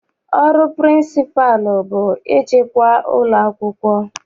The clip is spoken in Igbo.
Ọrụ pịrịnsịpalụ bụ ịchịkwa ụlọakwụkwọ.